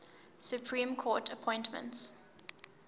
supreme court appointments